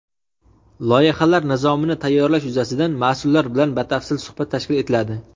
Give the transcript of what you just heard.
loyihalar nizomini tayyorlash yuzasidan mas’ullar bilan batafsil suhbat tashkil etiladi.